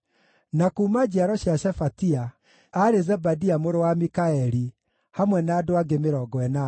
na kuuma njiaro cia Shefatia, aarĩ Zebadia mũrũ wa Mikaeli, hamwe na andũ angĩ 80;